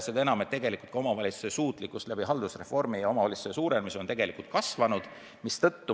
Ja haldusreformi tulemusel on omavalitsuste suutlikkus tegelikult kasvanud.